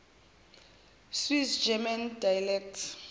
swiss german dialects